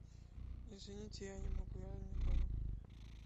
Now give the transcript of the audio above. извините я не могу я не дома